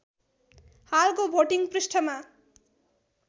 हालको भोटिङ पृष्ठमा